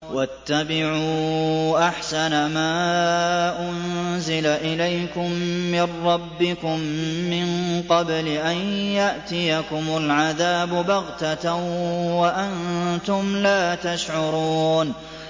وَاتَّبِعُوا أَحْسَنَ مَا أُنزِلَ إِلَيْكُم مِّن رَّبِّكُم مِّن قَبْلِ أَن يَأْتِيَكُمُ الْعَذَابُ بَغْتَةً وَأَنتُمْ لَا تَشْعُرُونَ